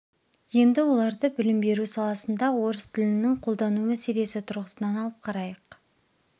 енді оларды білім беру саласында орыс тілінің қолдану мәселесі тұрғысынан алып қарайық